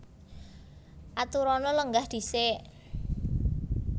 Aturana lenggah dhisik